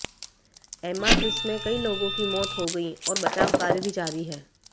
एमाट्रिस में कई लोगों की मौत हो गई और बचाव कार्य भी जारी हैं